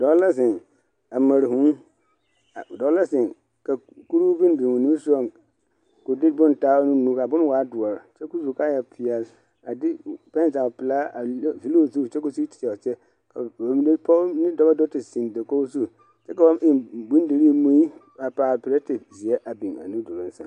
Dɔɔ la zeŋ a mare vūū dɔɔ la zeŋ ka kurihu boŋ biŋ o nu sɔgaŋ k'o de boŋ taa ka a boŋ waa doɔre kyɛ ka o su kaaya peɛle a de karataa pelaa vili o zu kyɛ ka o sigi te teɛ a kyɛ ka vūū dɔɔ ne pɔge do te zeŋ dakogi zu kyɛ ka ba biŋ bondirii mui a paali pɛrɛte zeɛ a biŋ a nu duluŋ sɛŋ.